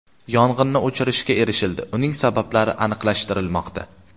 Yong‘inni o‘chirishga erishildi, uning sabablari aniqlashtirilmoqda.